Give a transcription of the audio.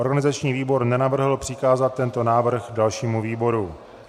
Organizační výbor nenavrhl přikázat tento návrh dalšímu výboru.